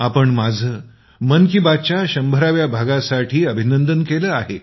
आपण माझं मन की बातच्या शंभराव्या भागासाठी अभिनंदन केलं आहे